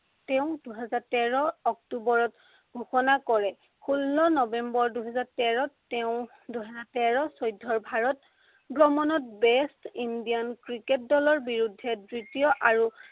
তেওঁ দুহেজাৰ তেৰ অক্টোৱৰত ঘোষণা কৰে। ষোল্ল নৱেম্বৰ দুহেজাৰ তেৰত তেওঁ দুহেজাৰ তেৰ চৈধ্য়ৰ ভাৰত ভ্ৰমণত best Indian ক্ৰিকেট দলৰ বিৰুদ্ধে দ্বিতীয় আৰু